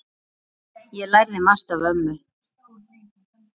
Ég lærði margt af ömmu.